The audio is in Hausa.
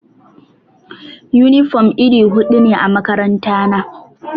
Yunifom iri hudu ne a makarantana.